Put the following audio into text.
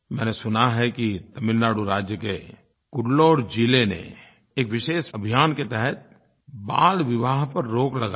मैंने सुना है कि तमिलनाडु राज्य के कुड्डलूर ज़िले ने एक विशेष अभियान के तहत बालविवाह पर रोक लगाई